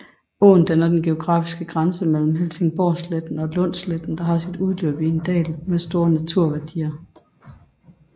Åen danner den geografiske grænse mellem Helsingborgsletten og Lundsletten og har sit løb i en dal med store naturværdier